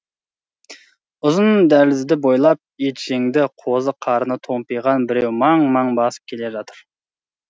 ұзын дәлізді бойлап етжеңді қозы қарны томпиыған біреу маң маң басып келе жатыр